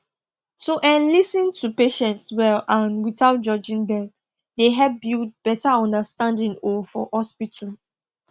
to um lis ten to patients well and without judging dem dey help build better understanding um for hospital